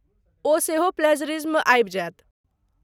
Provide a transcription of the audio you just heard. ओ सेहो प्लैज़रिज्म आबि जायत।